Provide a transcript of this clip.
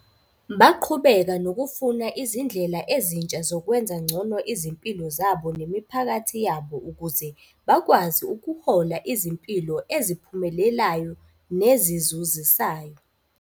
Baqhubeka nokufuna izindlela ezintsha zokwenza ngcono izimpilo zabo nemiphakathi yabo ukuze bakwazi ukuhola izimpilo eziphumelelayo nezizuzisayo.